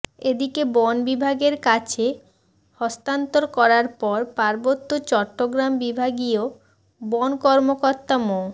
এদিকে বন বিভাগের কাছে হস্তান্তর করার পর পার্বত্য চট্টগ্রাম বিভাগীয় বন কর্মকর্তা মো